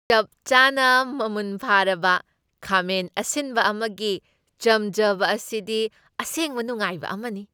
ꯆꯞ ꯆꯥꯅꯥ ꯃꯃꯨꯟ ꯐꯥꯔꯕ ꯈꯥꯃꯦꯟ ꯑꯁꯤꯟꯕ ꯑꯃꯒꯤ ꯆꯝꯖꯕ ꯑꯁꯤꯗꯤ ꯑꯁꯦꯡꯕ ꯅꯨꯉꯥꯏꯕ ꯑꯃꯅꯤ ꯫